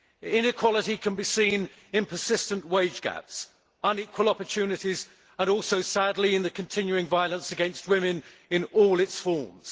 Inequality can be seen in persistent wage gaps, unequal opportunities and also, sadly, in the continuing violence against women in all its forms.